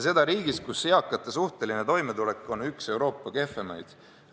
Seda riigis, kus eakate suhteline toimetulek on üks Euroopa kehvemaid.